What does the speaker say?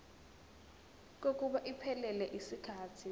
kokuba iphelele yisikhathi